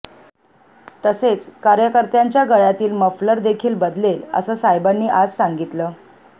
तसेच कार्यकर्त्यांच्या गळ्यातील मफलर देखील बदलेल असं साहेबांनी आज सांगितलं